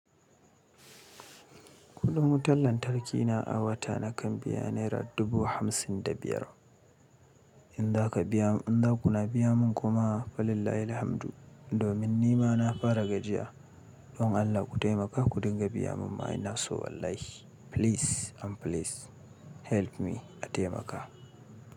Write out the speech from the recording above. Kudin wutar lantarki na a wata nakan biya naira dubu hamsin da biyar. In za ka biya, in za kuna biya mun kuma falillahilhamdu. Domin ni ma na fara gajiya. Don Allah ku taimaka ku dinga biya mun. Ma ina so wallahi. Please and please help me a taimaka.